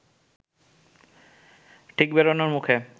ঠিক বেরোনোর মুখে